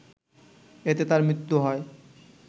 এতে তার মৃত্যু হয়